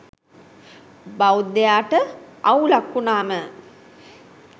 බෞද්ධයාට අවුලක් වුනාම